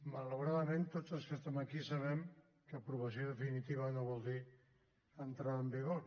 malauradament tots els que estem aquí sabem que aprovació definitiva no vol dir entrada en vigor